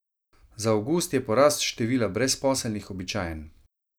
Za avgust je porast števila brezposelnih običajen.